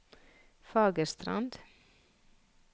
Fagerstrand